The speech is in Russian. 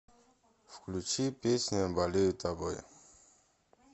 включи песня болею тобой